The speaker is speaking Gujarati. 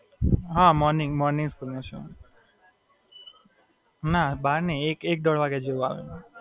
હાં.